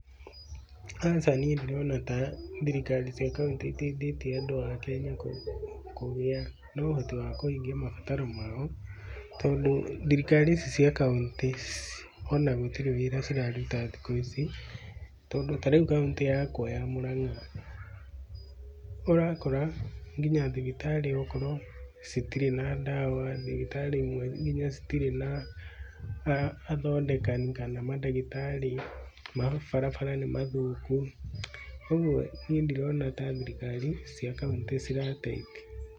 Aca niĩ ndirona ta thirikari cia kauntĩ iteithĩtie andũ a Kenya kũgĩa na ũhoti wa kũhingia mabataro mao, tondũ thirikari ici cia kauntĩ o na gũtirĩ wĩra ciraruta thikũ ici. Tondũ ta rĩu kauntĩ yakwa ya Mũrang'a, ũrakora nginya thibitarĩ okorwo citirĩ na ndawa, thibitarĩ imwe nginya citirĩ na athondekani kana mandagĩtarĩ, mabarabara nĩ mathũku. Koguo, niĩ ndirona ta thirikari cia kauntĩ cirateithia.